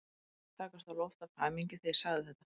Mér fannst ég takast á loft af hamingju þegar ég sagði þetta.